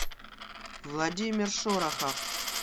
владимир шорохов